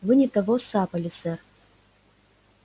вы не того сцапали сэр